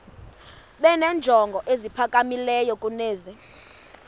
benenjongo eziphakamileyo kunezi